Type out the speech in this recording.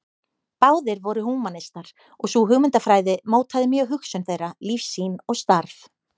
Báðir voru húmanistar og sú hugmyndafræði mótaði mjög hugsun þeirra, lífssýn og starf.